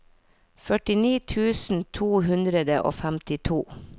førtini tusen to hundre og femtito